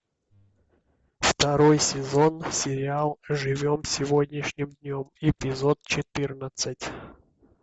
второй сезон сериал живем сегодняшним днем эпизод четырнадцать